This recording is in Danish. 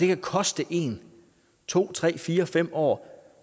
kan koste en to tre fire fem år